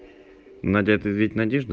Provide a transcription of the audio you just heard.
надеты ведь надежду